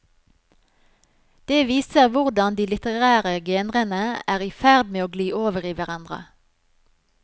Det viser hvordan de litterære genrene er i ferd med å gli over i hverandre.